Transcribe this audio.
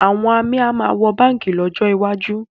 Àwọn amí a sì máa wọ báǹkì lọ́jọ́ iwájú